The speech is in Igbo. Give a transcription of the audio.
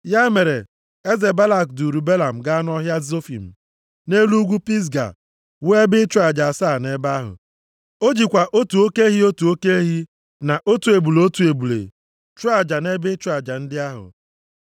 Ya mere, eze Balak duuru Belam gaa nʼọhịa Zofim, nʼelu ugwu Pisga, wuo ebe ịchụ aja asaa nʼebe ahụ. O jikwa otu oke ehi, otu oke ehi, na otu ebule, otu ebule, chụọ aja nʼebe ịchụ aja ndị ahụ.